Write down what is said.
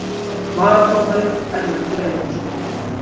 Varadómari: Erlendur Eiríksson